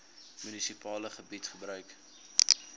munisipale gebied gebruik